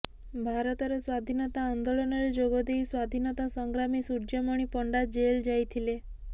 ଭାରତର ସ୍ୱାଧୀନତା ଆନ୍ଦୋଳନରେ ଯୋଗଦେଇ ସ୍ୱାଧୀନତା ସଂଗ୍ରାମୀ ସୂର୍ଯ୍ୟମଣି ପଣ୍ଡା ଜେଲ ଯାଇଥିଲେ